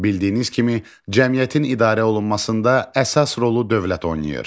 Bildiyiniz kimi, cəmiyyətin idarə olunmasında əsas rolu dövlət oynayır.